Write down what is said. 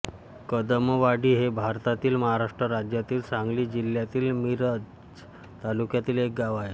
कदमवाडी हे भारतातील महाराष्ट्र राज्यातील सांगली जिल्ह्यातील मिरज तालुक्यातील एक गाव आहे